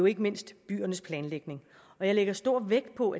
ikke mindst byernes planlægning jeg lægger stor vægt på